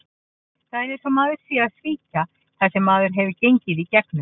Það er eins og maður sé að svíkja það sem maður hefur gengið í gegnum.